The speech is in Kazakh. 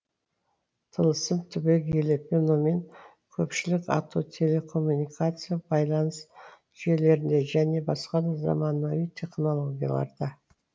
тылсым түбегейлі феномен көпшілік ату телекоммуникация байланыс жүйелерінде және басқа да заманауи технологияларда